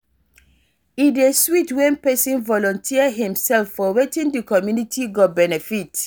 E dey sweet when pesin volunteer himself for wetin di community go benefit.